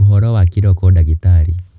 Ũhoro wa kĩroko ndagitarĩ.